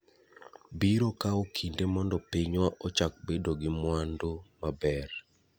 Biro kawo kinde mondo pinywa ochak bedo gi mwandu maber.